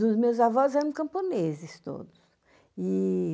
Dos meus avós eram camponeses todos. E